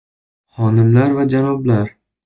Xonimlar va janoblar!